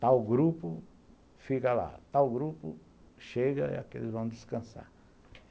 Tal grupo fica lá, tal grupo chega e eles vão descansar.